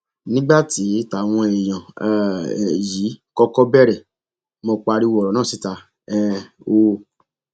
nígbà tí táwọn èèyàn um yìí kọkọ bẹrẹ mọ pariwo ọrọ náà síta um o